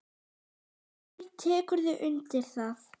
Haukur: Tekurðu undir það?